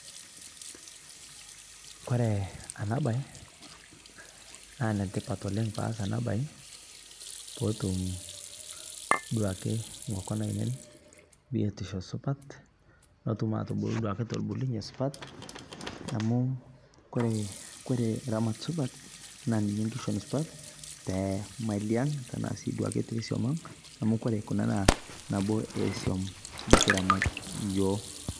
kore ana bai naa netipat oleng paas ana bai pootum duake ltungani biotisho supat notum atubu telbulunye supat amu kore ramat supat naa ninye nkishon supat temalii ang tanaa sii duake tesuom ang amu kore kunaa naa mali esuom nikiramat yoo